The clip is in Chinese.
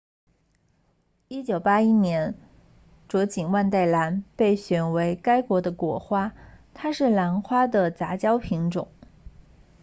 1981年卓锦万代兰被选为该国的国花它是兰花的杂交品种